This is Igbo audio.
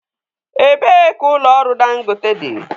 Ebee ka ụlọ ọrụ Dangote dị?